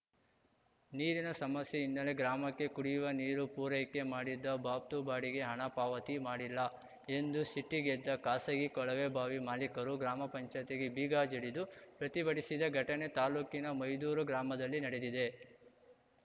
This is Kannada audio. ನೀರಿನ ಸಮಸ್ಯೆ ಹಿನ್ನೆಲೆ ಗ್ರಾಮಕ್ಕೆ ಕುಡಿಯುವ ನೀರು ಪೂರೈಕೆ ಮಾಡಿದ್ದ ಬಾಬ್ತು ಬಾಡಿಗೆ ಹಣ ಪಾವತಿ ಮಾಡಿಲ್ಲ ಎಂದು ಸಿಟ್ಟಿಗೆದ್ದ ಖಾಸಗಿ ಕೊಳವೆ ಬಾವಿ ಮಾಲೀಕರು ಗ್ರಾಮ ಪಂಚಾಯ್ತಿಗೆ ಬೀಗ ಜಡಿದು ಪ್ರತಿಭಟಿಸಿದ ಘಟನೆ ತಾಲೂಕಿನ ಮೈದೂರು ಗ್ರಾಮದಲ್ಲಿ ನಡೆದಿದೆ